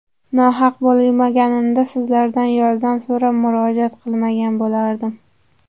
Nohaq bo‘lganimda sizlardan yordam so‘rab, murojaat qilmagan bo‘lardim.